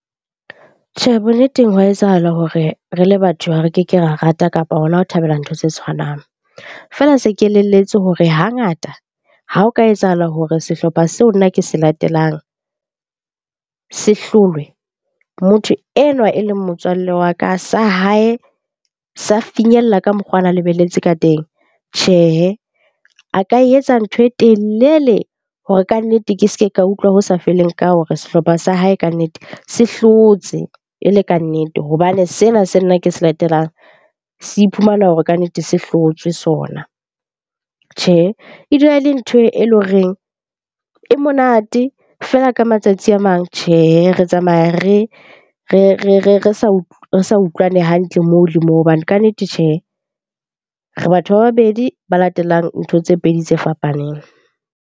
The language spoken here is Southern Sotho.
Tjhe, bonneteng hwa etsahala hore re le batho ha re keke ra rata kapa hona ho thabela ntho tse tshwanang. Feela se ke elelletswe hore hangata ha o ka etsahala hore sehlopha seo nna ke se latelang se hlolwe, motho enwa e leng motswalle wa ka sa hae sa finyella ka mokgo ana lebelletse ka teng. Tjhehe, a ka e etsa ntho e telele hore kannete ke se ke ka utlwa ho sa feleng ka hore sehlopha sa hae kannete se hlotse e le kannete. Hobane sena se nna ke se latelang, se iphumana hore kannete se hlotswe sona. Tjhe, e dula e le ntho e leng horeng e monate, feela ka matsatsi a mang tjhehe, re tsamaya re sa utlwane hantle moo le moo. Hobane kannete tjhehe, re batho ba babedi ba latelang ntho tse pedi tse fapaneng.